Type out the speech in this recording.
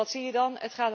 En wat zie je dan?